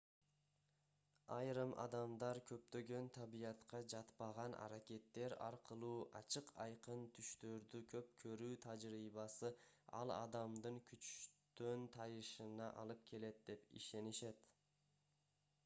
айрым адамдар көптөгөн табиятка жатпаган аракеттер аркылуу ачык-айкын түштөрдү көп көрүү тажрыйбасы ал адамдын күчтөн тайышына алып келет деп ишенишет